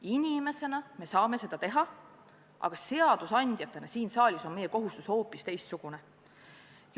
Inimesena me võime seda teha, aga seadusandjatena siin saalis on meie kohustus hoopis teistsugune.